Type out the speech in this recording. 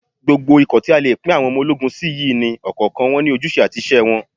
Gbogbo ikọ̀ tí a lè pín àwọn ológun sí yìí ni ọ̀kọ̀ọ̀kan wọn ní ojúṣe àti iṣẹ́ wọn